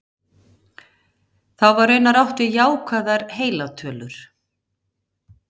þá var raunar átt við jákvæðar heilar tölur